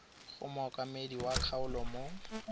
go mookamedi wa kgaolo mo